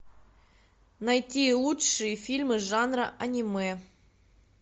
найти лучшие фильмы жанра аниме